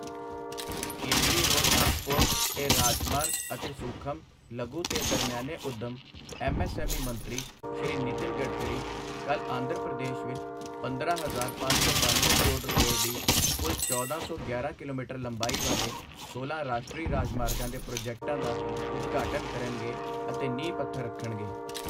ਕੇਂਦਰੀ road transport ਤੇ ਰਾਜਮਾਰਗ ਅਤੇ ਸੂਖਮ, ਲਘੂ ਤੇ ਦਰਮਿਆਨੇ ਉੱਦਮ ਐੱਮਐੱਸਐੱਮਈ ਮੰਤਰੀ ਸ਼੍ਰੀ ਨਿਤਿਨ ਗਡਕਰੀ ਕੱਲ੍ਹ ਆਂਧਰ ਪ੍ਰਦੇਸ਼ ਵਿੱਚ ਪੰਦਰਾਂ ਹਜ਼ਾਰ ਪੰਜ ਸੌ ਬਨਵੇਂ ਕਰੋੜ ਰੁਪਏ ਦੀ ਕੁੱਲ ਚੌਦਾਂ ਸੌ ਗਿਆਰਾਂ ਕਿਲੋਮੀਟਰ ਲੰਬਾਈ ਵਾਲੇ ਸੋਲਾਂ ਰਾਸ਼ਟਰੀ ਰਾਜਮਾਰਗਾਂ ਦੇ ਪ੍ਰੋਜੈਕਟਾਂ ਦਾ ਉਦਘਾਟਨ ਕਰਨਗੇ ਅਤੇ ਨੀਂਹ ਪੱਥਰ ਰੱਖਣਗੇ।